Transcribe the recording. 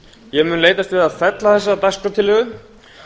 ég mun leitast við að fella þessa dagskrártillögu